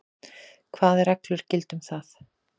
Hvað reglur gilda um það?